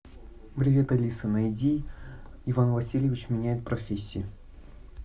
привет алиса найди иван васильевич меняет профессию